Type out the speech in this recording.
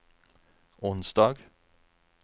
onsdag